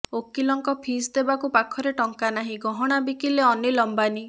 ଓକିଲଙ୍କ ଫିସ୍ ଦେବାକୁ ପାଖରେ ଟଙ୍କା ନାହିଁ ଗହଣା ବିକିଲେ ଅନୀଲ ଅମ୍ବାନୀ